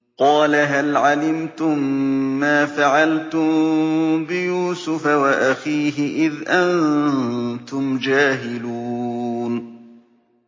قَالَ هَلْ عَلِمْتُم مَّا فَعَلْتُم بِيُوسُفَ وَأَخِيهِ إِذْ أَنتُمْ جَاهِلُونَ